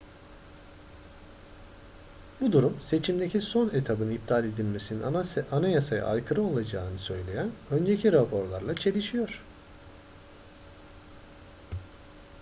bu durum seçimdeki son etabın iptal edilmesinin anayasaya aykırı olacağını söyleyen önceki raporlarla çelişiyor